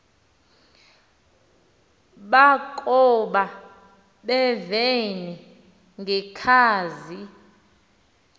bakoba bevene ngekhazi